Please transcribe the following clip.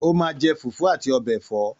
Ó máa je Fùfú àti ọbẹ̀ ẹ̀fọ́